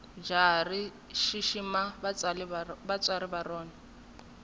jahha rishishima vatswari varona